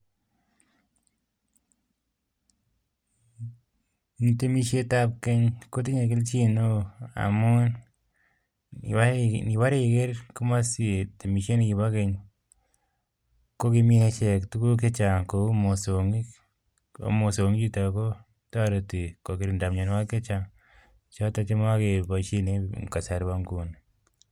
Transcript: Temeshet ab Keny kotinye keljin neo en amu ngiker temeshet ab Keny kotinye keljin neo